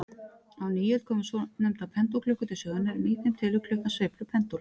Á nýöld komu svonefndar pendúlklukkur til sögunnar, en í þeim telur klukkan sveiflur pendúls.